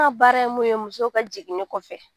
N ka baara ye mun ye musow ka jiginɲi kɔfɛ